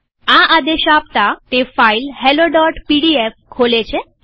આ આદેશ આપતાતે ફાઈલ helloપીડીએફ ખોલે છે